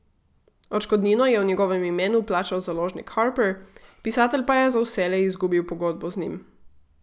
Odškodnino je v njegovem imenu plačal založnik Harper, pisatelj pa je za vselej izgubil pogodbo z njim.